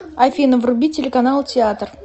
афина вруби телеканал театр